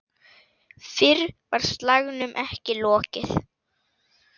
Fyrr var slagnum ekki lokið.